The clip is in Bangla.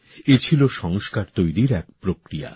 এ ছিল সংস্কার তৈরির এক প্রক্রিয়া